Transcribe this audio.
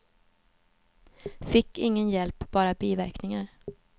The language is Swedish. Fick ingen hjälp, bara biverkningar.